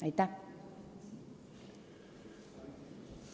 Aitäh!